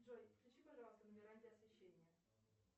джой включи пожалуйста на веранде освещение